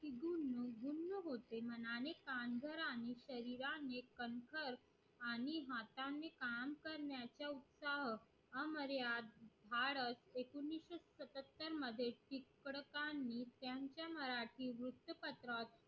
आणि परिवारने आणि काम करण्याचा उत्साह एकोणीशे सततर मध्ये टिळकांनी त्यांच्या मराठी वृत्तपत्रा